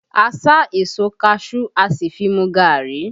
A sá èso kaṣuú, a sì fi mu gari